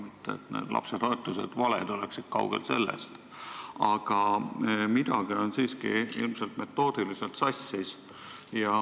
Mitte et need toetused valed oleksid, kaugel sellest, aga midagi on siiski ilmselt metoodiliselt sassis.